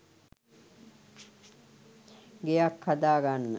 ගෙයක් හදාගන්න